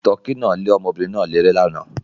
Tọkí náà le ọmọbìnrin náà léré lánàá.